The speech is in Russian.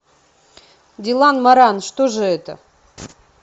дилан моран что же это